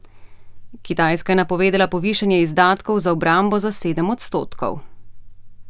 Kitajska je napovedala povišanje izdatkov za obrambo za sedem odstotkov.